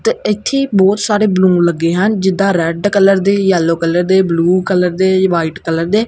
ਤੇ ਇੱਥੇ ਬਹੁਤ ਸਾਰੇ ਬਲੂਨ ਲੱਗੇ ਹਨ ਜਿੱਦਾਂ ਰੈਡ ਕਲਰ ਦੇ ਯੈਲੋ ਕਲਰ ਦੇ ਬਲੂ ਕਲਰ ਦੇ ਵਾਈਟ ਕਲਰ ਦੇ।